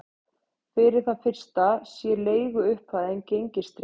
Fyrir það fyrsta sé leiguupphæðin gengistryggð